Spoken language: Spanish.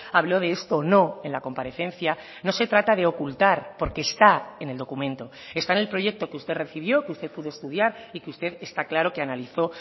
habló de esto o no en la comparecencia no se trata de ocultar porque está en el documento está en el proyecto que usted recibió que usted pudo estudiar y que usted está claro que analizó